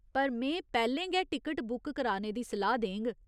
पर में पैह्‌लें गै टिकट बुक कराने दी सलाह् देङ।